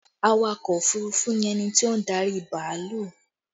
Awakọ̀ òfurufú ni ẹni tí ó ń darí bàálù